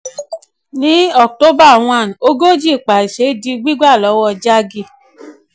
ní october one ogójì paise di gbígbà lọ́wọ́ jaggi.